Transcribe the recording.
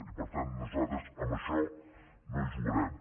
i per tant nosaltres amb això no hi jugarem